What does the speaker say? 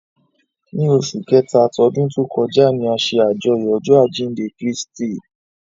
Ni óṣù Kẹta tọdun to kọja ni a ṣe ajọyọ ọjọ ajinde Kristi